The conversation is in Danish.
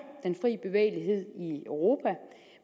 den fri bevægelighed i europa